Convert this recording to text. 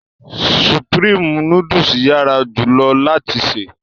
Sùprémé nùdù yara julọ lati se